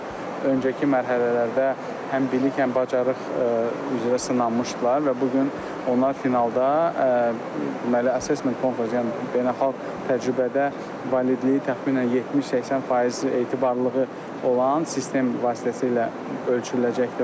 Bunlar öncəki mərhələlərdə həm bilik, həm bacarıq üzrə sınanmışdılar və bu gün onlar finalda deməli assesment konfrans, yəni beynəlxalq təcrübədə validliyi təxminən 70-80% etibarlılığı olan sistem vasitəsilə ölçüləcəkdir.